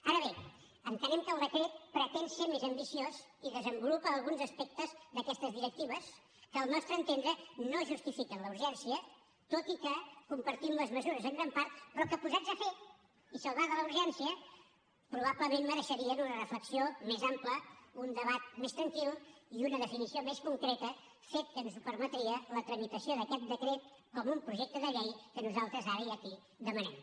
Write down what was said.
ara bé entenem que el decret pretén ser més ambiciós i desenvolupa alguns aspectes d’aquestes directives que al nostre entendre no en justifiquen la urgència tot i que compartim les mesures en gran part però que posats a fer i salvada la urgència probablement mereixerien una reflexió més ampla un debat més tranquil i una definició més concreta fet que ens permetria la tramitació d’aquest decret com un projecte de llei que nosaltres ara i aquí demanem